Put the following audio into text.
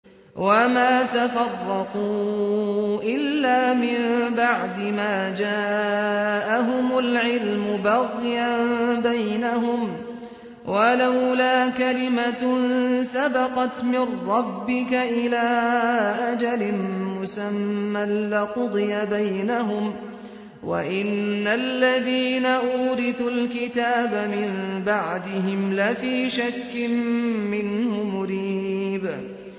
وَمَا تَفَرَّقُوا إِلَّا مِن بَعْدِ مَا جَاءَهُمُ الْعِلْمُ بَغْيًا بَيْنَهُمْ ۚ وَلَوْلَا كَلِمَةٌ سَبَقَتْ مِن رَّبِّكَ إِلَىٰ أَجَلٍ مُّسَمًّى لَّقُضِيَ بَيْنَهُمْ ۚ وَإِنَّ الَّذِينَ أُورِثُوا الْكِتَابَ مِن بَعْدِهِمْ لَفِي شَكٍّ مِّنْهُ مُرِيبٍ